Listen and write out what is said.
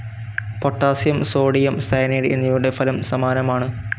Potassium, sodium cyanide എന്നിവയുടെ ഫലം സമാനമാണ്.